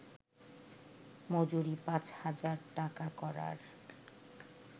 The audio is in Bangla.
মজুরি পাঁচ হাজার টাকা করার